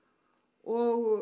og